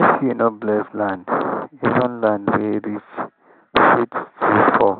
if you no bless land even land wey rich fit still fall